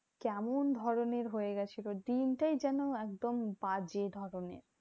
কেমন ধরণের হয়ে গেছিলো? দিনটাই যেন একদম বাজে ভাবে